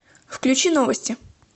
включи новости